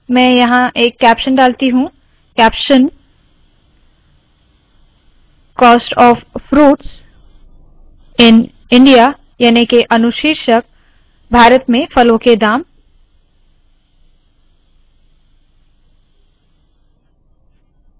मैं यहाँ एक कैप्शन डालती हूँ caption – cost of fruits in india याने के अनुशीर्षक भारत में फलों के दाम